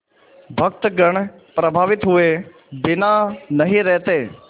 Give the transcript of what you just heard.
भक्तगण प्रभावित हुए बिना नहीं रहते